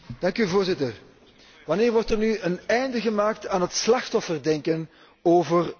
Wanneer wordt er nu een einde gemaakt aan het slachtofferdenken over de Roma zigeuners.